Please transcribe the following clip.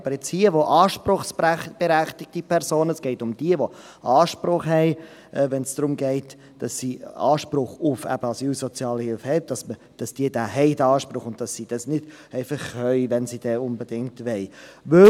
Aber hier, wo anspruchsberechtigte Personen – es geht um jene, die Anspruch haben – Anspruch auf Asylsozialhilfe , diesen auch haben und nicht nur können, wenn sie unbedingt wollen.